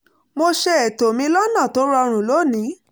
mo ṣe ètò mi lọ́nà tó rọrùn lónìí